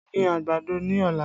Gbin àgbàdo ní ọ̀la!